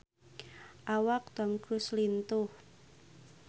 Awak Tom Cruise lintuh